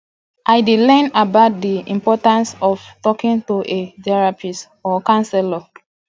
i dey learn about dey importance of talking to a therapist or counselor